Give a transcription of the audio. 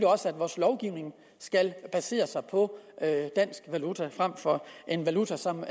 også at vores lovgivning skal basere sig på dansk valuta frem for en valuta som